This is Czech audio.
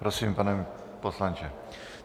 Prosím, pane poslanče.